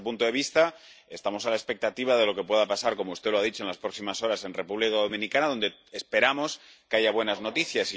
Desde este punto de vista, estamos a la expectativa de lo que pueda pasar —como usted ha dicho— en las próximas horas en la República Dominicana, donde esperamos que haya buenas noticias.